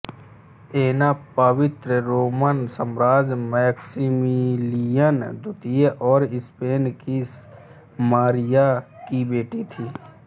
ऐना पवित्र रोमन सम्राट मैक्सिमिलियन द्वितीय और स्पेन की मारिया की बेटी थी